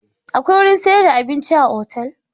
Akwai wurin sayar da abinci a otal?